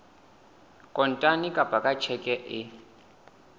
kontane kapa ka tjheke e